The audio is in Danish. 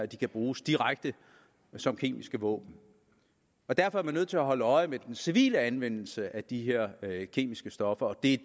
de kan bruges direkte som kemiske våben derfor er man nødt til at holde øje med den civile anvendelse af de her kemiske stoffer og det